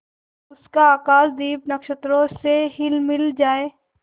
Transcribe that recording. उसका आकाशदीप नक्षत्रों से हिलमिल जाए